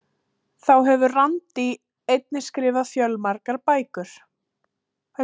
Þá hefur Randi einnig skrifað fjölmargar bækur.